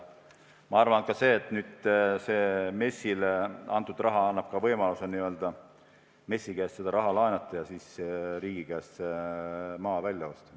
Ma arvan, et on hea, et nüüd see MES-ile antud raha annab võimaluse MES-i käest raha laenata ja riigi käest maa välja osta.